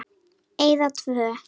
Eyða tvö.